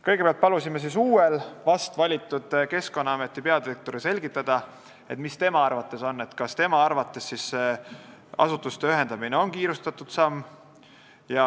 Kõigepealt palusime vast valitud Keskkonnaameti peadirektoril selgitada, kas tema arvates on asutuste ühendamisega kiirustatud.